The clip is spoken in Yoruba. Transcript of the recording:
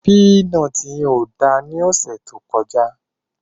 Pínọtì yen kò da ní ọ̀sẹ̀ tí ó kọjá.